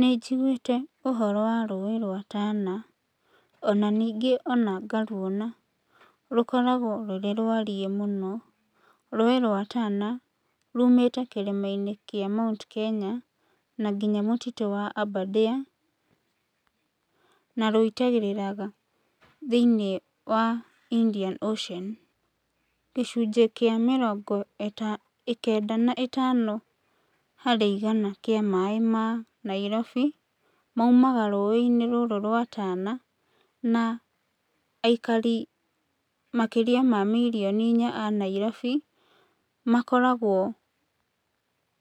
Nĩ njiguĩte ũhoro wa rũĩ rwa Tana, na ningĩ ona ngaruona, rũkoragwo rũrĩ rwariĩ mũno, rũĩ rwa Tana, rumĩte kĩrĩmainĩ kĩa Mount Kenya na nginya mũtitũ wa Aberdare, na ruitagĩrĩra thĩiniĩ wa Indian Ocean. Gĩcunjĩ kĩa mĩrongo ĩta, kenda na ĩtano harĩ igana kĩa maĩ ma Nairobi, maumaga rũĩinĩ rũrũ rwa Tana, na aikari makĩria ma mirioni inya a Nairobi, makoragwo